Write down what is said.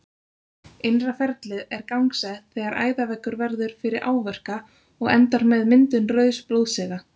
Innra ferlið er gangsett þegar æðaveggur verður fyrir áverka og endar með myndun rauðs blóðsega.